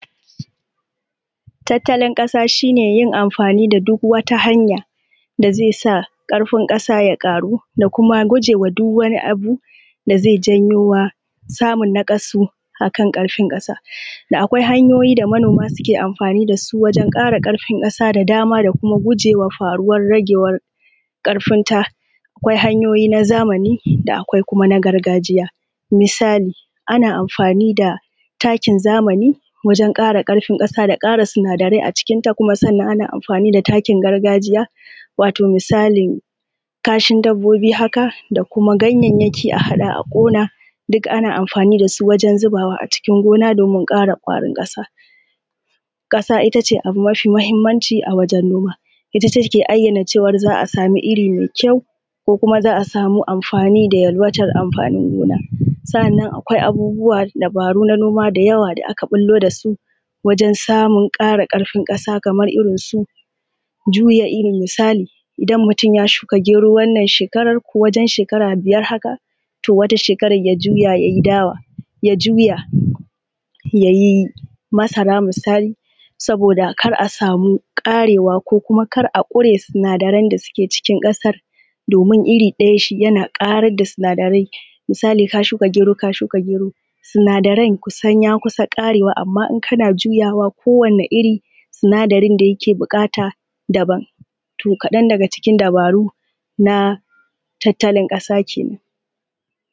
Tattalin ƙasa shi ne yin amfani da duk wata hanya da zai sa ƙarfin ƙasa ya ƙaru da kuma guje wa duk wani samun naƙasu ƙarfin ƙasa. Akwai hanyoyin da manoma suke amfani da su don ƙara ƙarfin ƙasa da dama da kuma gujewa faruwa yanayi ƙarfinta, akwai hanyoyi na zamani, akwai kuma na gargajiya. Misali takin zamani wajen ƙara ƙarfin ƙasa da ƙara sinadarai a cikinta sannan ana amfani da takin gargajiya wato misalin kashin dabbobi haka da kuma ganyayyaki a haɗa a ƙona, duka ana amfani da su wajen zubawa a cikin gona don kara ƙwarin ƙasa. Ƙasa ita ce abu mafi mahimmanci a wajen noma ita take ayyana za a samu iri mai anfani da yalwatar smfanin gona. Sanna Kwai abubuwa dabaru na noma da yawa da aka bullo da su wajen samu kara ƙarfi ƙasa kamar irin juya iri. Misali idan mutum ya samu ya shuka geto wannan shekarav ko wjen shekara biyar haka to wata shekara ya juya ya yi dawa. Ya juya ya yi masara misali. Saboda kar a samu karewa konkar aƙure sinadarai da suke cikin ƙasar domin iri ɗaya yana ƙarar da sinadarai. Misali ka shuka geru ka shuka geru, sinadarai sun kusa karewa amma idan kana juyawa ko wane iri sinadarin da yake buƙata daban. To kaɗan daga cikin dabaru na tattalin ƙasa kenan.